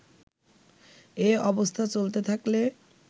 এ অবস্থা চলতে থাকলে